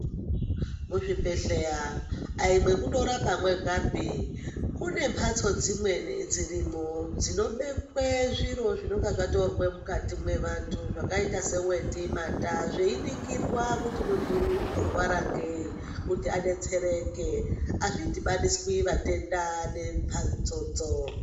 Muzvibhedhleya ayi mwekundorapa mwegapi, kune mbatso dzimweni dzirimwo dzinobekwe zviro zvinonga zvatorwa mukati mwevantu, zvakayita seweti, mata, zveyiningirwa kuti muntu uyu unorwara ngeyi kuti adetsereke, azvidhibaniswi matenda nembatsodzo.